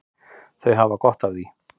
Þau hafa gott af því.